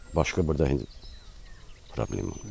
Başqa burda problem yoxdur.